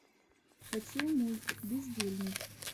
хочу мульт бездельник